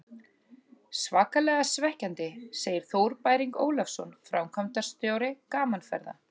Svakalega svekkjandi, segir Þór Bæring Ólafsson, framkvæmdastjóri Gaman Ferða.